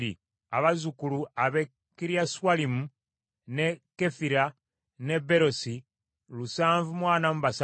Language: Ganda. abazzukulu ab’e Kiriaswalimu, n’e Kefira n’e Beerosi lusanvu mu ana mu basatu (743),